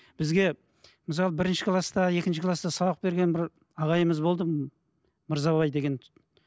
бізге мысалы бірінші класта екінші класта сабақ берген бір ағайымыз болды мырзабай деген